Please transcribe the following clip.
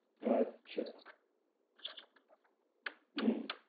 আচ্ছা হম